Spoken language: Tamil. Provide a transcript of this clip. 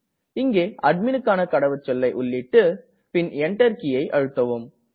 இங்கே அட்மிணுக்கான கடவுச்சொல்லை உள்ளீட்டு பின் Enter கீயை அழுத்தவும்